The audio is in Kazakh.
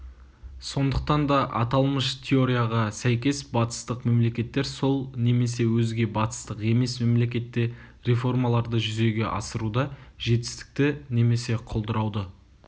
сондықтан да аталмыш теорияға сәйкес батыстық мемлекеттер сол немесе өзге батыстық емес мемлекетте реформаларды жүзеге асыруда жетістікті немесе құлдырауды